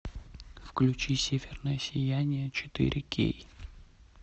включи северное сияние четыре кей